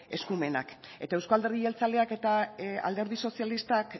eskumenak eta eusko alderdi jeltzaleak eta alderdi sozialistak